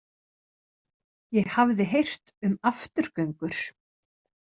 Ég hafði heyrt um afturgöngur.